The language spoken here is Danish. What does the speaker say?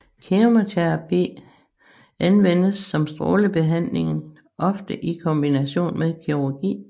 Kemoterapi anvendes som strålebehandlingen ofte i kombination med kirurgi